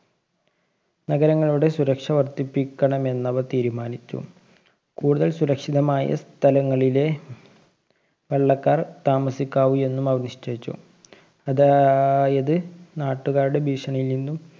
നഗരങ്ങളുടെ സുരക്ഷ വര്‍ദ്ധിപ്പിക്കണമെന്നവര്‍ തീരുമാനിച്ചു. കൂടുതല്‍ സുരക്ഷിതമായ സ്ഥലങ്ങളിലെ വെള്ളക്കാര്‍ താമസിക്കാവു എന്നുമവര്‍ നിശ്ചയിച്ചു. അതാ~യത് നാട്ടുകാരുടെ ഭീഷണിയില്‍ നിന്നും